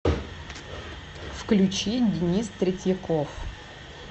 включить денис третьяков